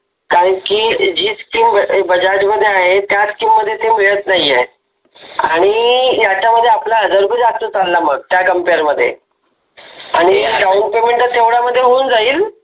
कारण की जी स्कीम बजाज मध्ये आहे त्याच स्कीम मध्ये ते मिळत नाही आहे आणि याच्यामध्ये आपला हजार रुपये जास्त चालला मग त्या कंपेअर मध्ये आणि डाउन पेमेंट तर तेवढ्या मध्ये होऊन जाईल.